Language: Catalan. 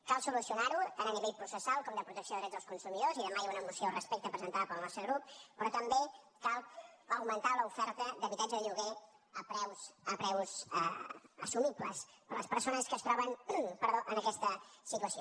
cal solucionar ho tant a nivell processal com de protecció de drets dels consumidors i demà hi ha una moció al respecte presentada pel nostre grup però també cal augmentar l’oferta d’habitatge de lloguer a preus assumibles per les persones que es troben en aquesta situació